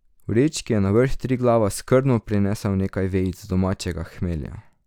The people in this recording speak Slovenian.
V vrečki je na vrh Triglava skrbno prinesel nekaj vejic domačega hmelja.